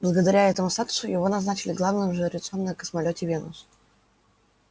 благодаря этому статусу его назначили главным жрецом на космолёте венус